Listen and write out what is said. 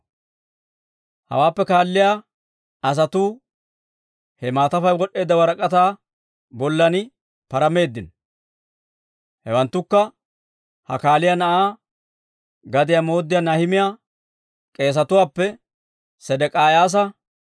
Hawaappe kaalliyaa asatuu he maatafay wod'd'eedda warak'ataa bollan parameeddino. Hewanttukka Hakaaliyaa na'aa gadiyaa mooddiyaa Nahimiyaa; k'eesetuwaappe: Sedek'iyaasa,